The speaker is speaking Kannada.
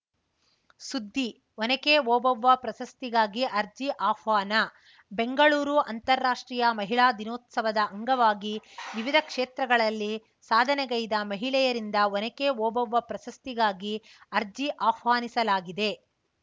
ಸುದ್ದಿ ಒನಕೆ ಓಬವ್ವ ಪ್ರಶಸ್ತಿಗಾಗಿ ಅರ್ಜಿ ಆಹ್ವಾನ ಬೆಂಗಳೂರು ಅಂತಾರಾಷ್ಟ್ರೀಯ ಮಹಿಳಾ ದಿನೋತ್ಸವದ ಅಂಗವಾಗಿ ವಿವಿಧ ಕ್ಷೇತ್ರಗಳಲ್ಲಿ ಸಾಧನೆಗೈದ ಮಹಿಳೆಯರಿಂದ ಒನಕೆ ಓಬವ್ವ ಪ್ರಶಸ್ತಿಗಾಗಿ ಅರ್ಜಿ ಆಹ್ವಾನಿಸಲಾಗಿದೆ